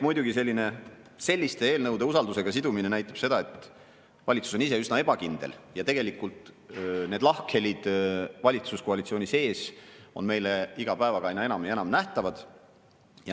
Muidugi selliste eelnõude usaldusega sidumine näitab seda, et valitsus on üsna ebakindel ja tegelikult on lahkhelid valitsuskoalitsiooni sees meile iga päevaga aina enam ja enam nähtavad.